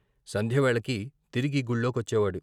సంధ్యవేళకి తిరిగి గుళ్ళో కొచ్చేవాడు.